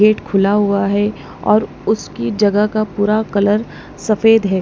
Gate खुला हुआ है और उसकी जगह का पूरा कलर सफेद है।